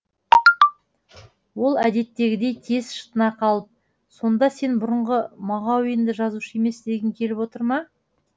ол әдеттегідей тез шытына қалып сонда сен бұрынғы мағауинді жазушы емес дегің келіп отыр ма